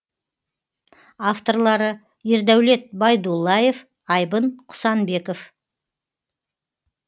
авторлары ердәулет байдуллаев айбын құсанбеков